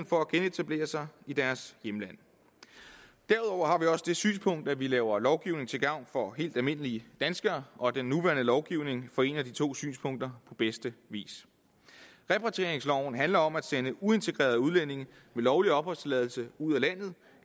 for at genetablere sig i deres hjemland derudover har vi også det synspunkt at vi skal lave lovgivning til gavn for helt almindelige danskere og at den nuværende lovgivning forener de to synspunkter på bedste vis repatrieringsloven handler om at sende uintegrerede udlændinge med lovlig opholdstilladelse ud af landet